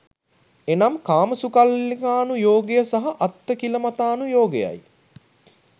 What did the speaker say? එනම් කාමසුඛල්ලිකානු යෝගය සහ අත්ථකිලමතානුයෝගයයි.